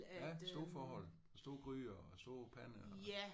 Ja store forhold. Store gryder og store pander